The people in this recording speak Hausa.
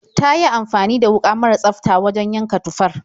Ta yi amfani da wuƙa mara tsafta wajen yanka tufar.